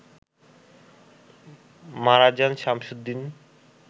মারা যান শামসুদ্দিন